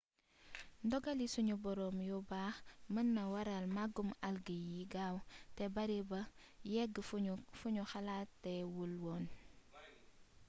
ndogali sunu boroom yu baax mën na waral màggug algues yi gaaw te bari ba yegg fu ñu xalaatee wul woon